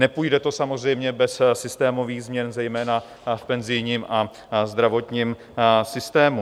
Nepůjde to samozřejmě bez systémových změn zejména v penzijním a zdravotním systému.